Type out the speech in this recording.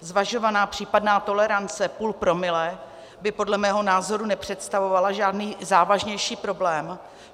Zvažovaná případná tolerance půl promile by podle mého názoru nepředstavovala žádný závažnější problém.